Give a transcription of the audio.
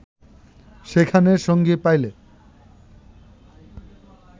সেখানে সঙ্গী পাইলে